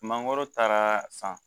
Mangoro taara san